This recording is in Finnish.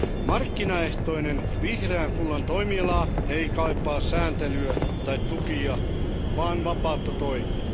Markkinaehtoinen vihreän kullan toimiala ei kaipaa sääntelyä tai tukia, vaan vapautta toimia.